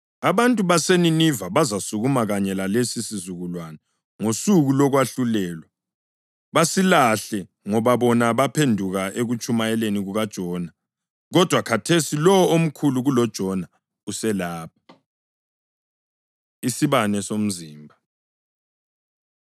Abantu baseNiniva bazasukuma kanye lalesi sizukulwane ngosuku lokwahlulelwa basilahle ngoba bona baphenduka ekutshumayeleni kukaJona, kodwa khathesi lowo omkhulu kuloJona uselapha.” Isibane Somzimba